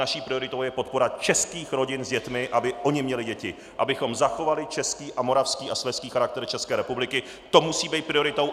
Naší prioritou je podpora českých rodin s dětmi, aby ony měly děti, abychom zachovali český a moravský a slezský charakter České republiky - to musí být prioritou!